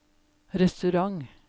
restaurant